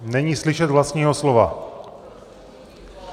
Není slyšet vlastního slova.